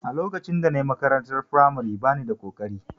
A lokacin da na yi makarantar firamare ba ni da ƙoƙari